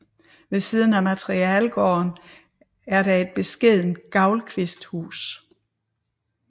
Ved siden af materielgården er der et beskedent gavlkvisthus